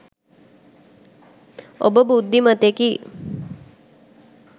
ඔබ බුද්ධිමතෙකි.